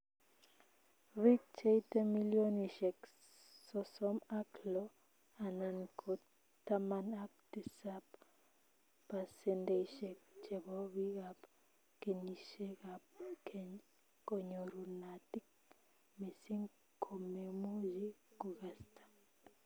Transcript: Biik cheite millionishek sosom ak loo anan ko taman ak tisap pasendeishek chepo biikab kenyishekab kween konyorunotin missin komemuchi kokasta